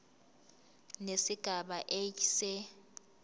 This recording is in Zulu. nesigaba a se